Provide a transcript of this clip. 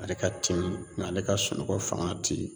Ale ka timi ale ka sunɔgɔ faŋa te